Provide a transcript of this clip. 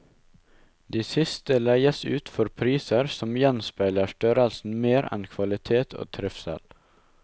De siste leies ut for priser som gjenspeiler størrelsen mer enn kvalitet og trivsel.